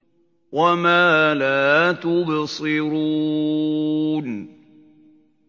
وَمَا لَا تُبْصِرُونَ